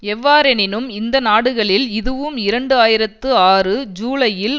எவ்வாறெனினும் இந்த நாடுகளில் எதுவும் இரண்டு ஆயிரத்தி ஆறு ஜூலையில்